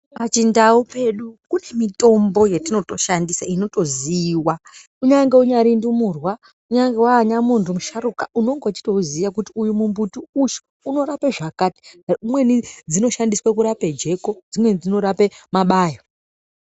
Pachindau pedu kune mitombo yatinotoshandisa inotoziiwa kunyange unyari ndumurwa kunyange wanyamuntu musharuka unenge uchitouziya kuti uyu mumbuti uyu unorape zvakati imweni dzinoshandiswa kurape jeko dzimweni dzinorape mabayo.